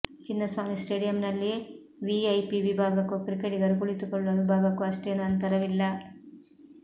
ಚಿನ್ನಸ್ವಾಮಿ ಸ್ಟೇಡಿಯಂನಲ್ಲಿ ವಿಐಪಿ ವಿಭಾಗಕ್ಕೂ ಕ್ರಿಕೆಟಿಗರು ಕುಳಿತುಕೊಳ್ಳುವ ವಿಭಾಗಕ್ಕೂ ಅಷ್ಟೇನೂ ಅಂತರವಿಲ್ಲ